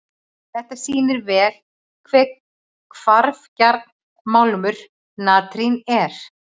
Þetta sýnir vel hve hvarfgjarn málmur natrín er.